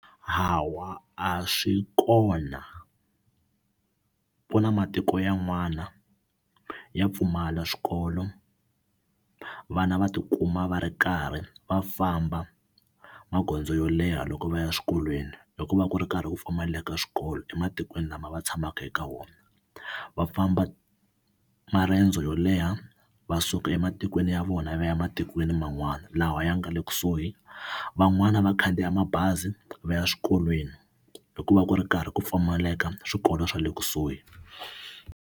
Hawa, a swi kona ku na matiko yan'wana ya pfumala swikolo vana va tikuma va ri karhi va famba magondzo yo leha loko va ya eswikolweni hi ku va ku ri karhi ku pfumaleka swikolo ematikweni lama va tshamaka eka wona va famba marendzo yo leha va suka ematikweni ya vona va ya ematikweni man'wana lawa ya nga le kusuhi van'wani va khandziya mabazi va ya swikolweni hikuva ku ri karhi ku pfumaleka swikolo swa le kusuhi.